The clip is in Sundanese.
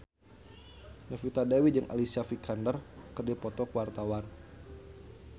Novita Dewi jeung Alicia Vikander keur dipoto ku wartawan